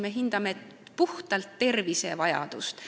Me hindame puhtalt tervisevajadust.